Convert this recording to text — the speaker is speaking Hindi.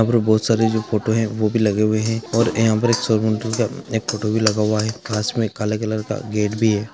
यहाँ पर बोहोत सरे जो फोटो है वो भी लगे हुए है और का भो फोटो लगा हुआ है पास में कला कलर का गेट भी है|